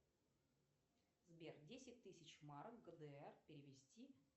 сбер десять тысяч марок гдр перевести